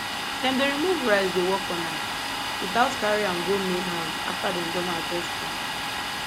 dem dey remove rice dey work on am without carry am go main house after dem don harvest am